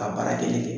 A baara kelen kɛ